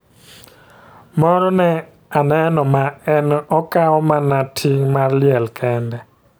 Moro ne a neno ma en okawo mana ting' mar liel kende